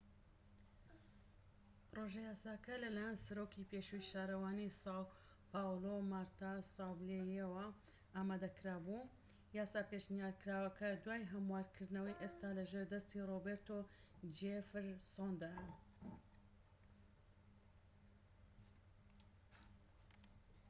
پڕۆژە یاساکە لەلایەن سەرۆکی پێشووی شارەوانی ساو پاولۆ مارتا ساوبلییەوە ئامادەکرا بوو. یاسا پێشنیارکراوەکە، دوای هەموارکردنەوەی، ئێستا لە ژێر دەستی ڕۆبێرتۆ جێفرسۆندایە‎